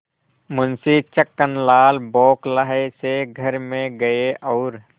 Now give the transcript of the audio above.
मुंशी छक्कनलाल बौखलाये से घर में गये और